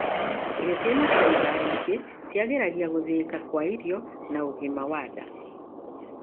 Irio ciina faimba nyingĩ ciagĩragia gũthĩika kwa irio na ũgima wa nda.